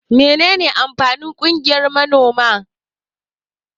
Mene ne amfanin ƙungiyan manoma?